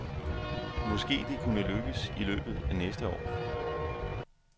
Måske det kunne lykkes i løbet af næste år.